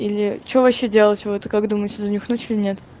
или что вообще делать вы это как думаете занюхнуть или нет